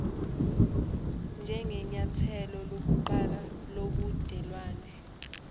njengenyathelo lokuqala lobudelwane